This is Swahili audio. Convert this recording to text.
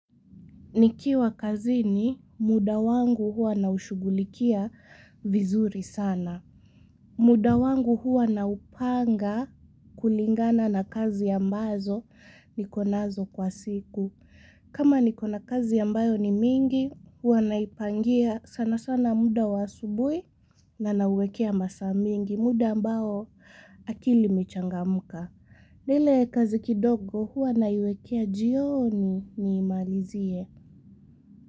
Nikiwa kazini muda wangu huwa naushughulikia vizuri sana. Muda wangu huwa naupanga kulingana na kazi ambazo nikonazo kwa siku. Kama nikona kazi ambayo ni mingi huwa naipangia sana sana muda wa asubuhi na nauwekea masaa mingi muda ambao akili imechangamuka. Na ile kazi kidogo huwa naiwekea jioni niimalizie.